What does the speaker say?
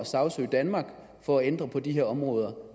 sagsøge danmark for at ændre på de områder